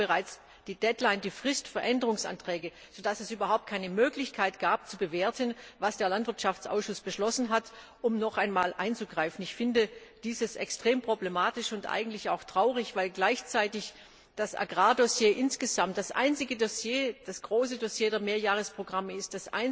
12.00 Uhr bereits die Frist für Änderungsanträge war, sodass es überhaupt keine Möglichkeit gab, zu bewerten, was der Landwirtschaftsausschuss beschlossen hat, um noch einmal einzugreifen. Ich finde das extrem problematisch und eigentlich auch traurig, weil gleichzeitig das Agrar Dossier insgesamt das einzige große Dossier der Mehrjahresprogramme ist,